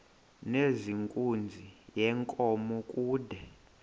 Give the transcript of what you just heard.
nezenkunzi yenkomo kude